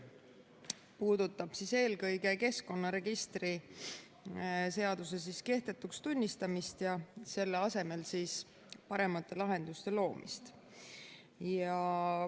See puudutab eelkõige keskkonnaregistri seaduse kehtetuks tunnistamist ja selle asemele paremate lahenduste loomist.